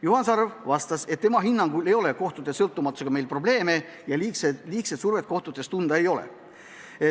Juhan Sarv vastas, et tema hinnangul ei ole meil kohtute sõltumatusega probleeme ja liigset survet kohtutes tunda ei ole.